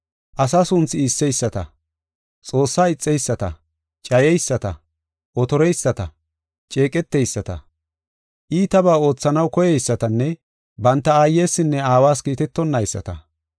asa sunthi iisseyisata, Xoossaa ixeyisata, cayeyisata, otoreyisata, ceeqeteyisata, iitabaa oothanaw koyeysatanne banta aayesinne aawas kiitetonayisata,